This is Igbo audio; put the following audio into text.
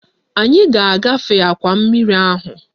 Anyị ga-agafe akwa mmiri ahụ